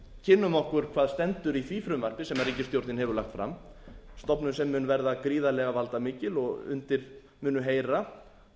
kynnum okkur hvað stendur í því frumvarpi sem ríkisstjórnin hefur lagt fram stofnun sem mun veðra gríðarlega valdamikil og undir munu heyra